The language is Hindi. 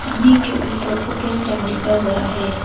हिंदी के ऊपर ओपन टाइम लिखा गया है।